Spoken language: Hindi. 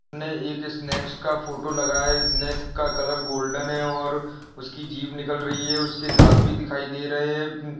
--ने एक स्नेक्स का फोटो लगाया है स्नेक का कलर गोल्डन है और उसकी जीत निकल रही है उसके दांत भी दिखाई दे रहे हैं।